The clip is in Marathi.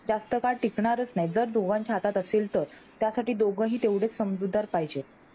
जास्त काळ टिकणारच असे जर दोघांच्या हातात असेल तर, त्यासाठी दोघेही तेव्हा समजूतदार पाहिजे,